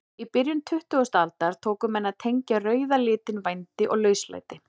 Í byrjun tuttugustu aldar tóku menn að tengja rauða litinn vændi og lauslæti.